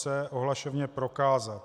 c) ohlašovně prokázat.